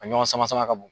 A ɲɔgɔn sama sama ka b'o